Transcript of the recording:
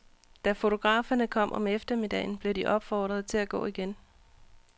Da fotograferne kom om eftermiddagen, blev de opfordret til at gå igen.